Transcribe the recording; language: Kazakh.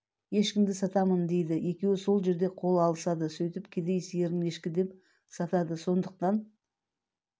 ешкімді сатам дейді екеуі сол жерде қол алысады сөйтіп кедей сиырын ешкі деп сатады сондықтан